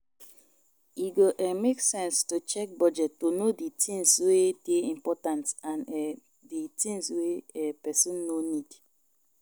E go um make sense to check budget to know di tins wey dey important and um di tins wey um person no need